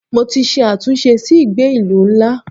Mo ti ṣe àtúnṣe sí ìgbé ìlú ńlá.